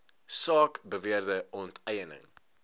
saak beweerde onteiening